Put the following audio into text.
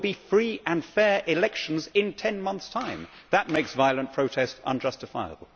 There will be free and fair elections in ten months' time. That makes violent protest unjustifiable.